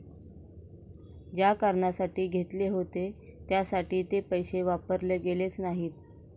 ज्या कारणासाठी घेतले होते त्यासाठी ते पैसे वापरले गेलेच नाहीत.